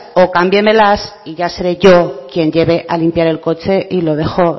o cámbiemelas y ya seré yo quien lleve a limpiar el coche y lo dejo